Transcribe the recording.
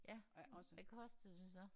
Ja hvad kostede det så?